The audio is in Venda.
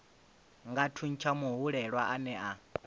nga thuntsha muhwelelwa ane a